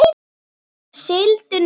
Sigldu nú.